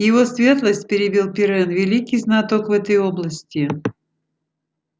его светлость перебил пиренн великий знаток в этой области